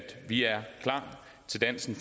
vi er klar til dansen